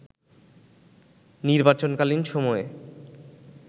নির্বাচনকালীন সময়ে